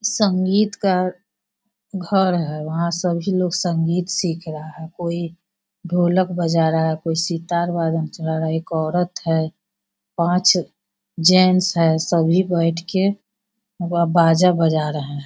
संगीत का घर है। वहां सभी लोग संगीत सीख रहा है। कोई ढोलक बजा रहा है कोई सितार बजाना चाह रहा है। एक औरत है पांच जेंट्स है सभी बैठके बाजा बजा रहे है।